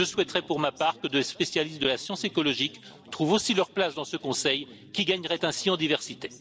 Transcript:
Je souhaiterais pour ma part que des spécialistes de la science écologique trouvent aussi leur place dans ce Conseil, qui gagnerait ainsi en diversité.